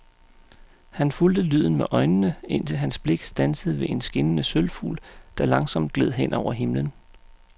Han fulgte lyden med øjnene, indtil hans blik standsede ved en skinnende sølvfugl, der langsomt gled hen over himlen.